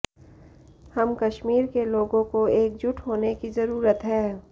हम कश्मीर के लोगों को एकजुट होने की जरूरत है